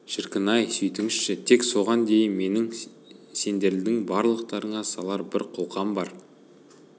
шіркін-ай сөйтіңізші тек соған дейін менің сендердің барлығыңа салар бір қолқам бар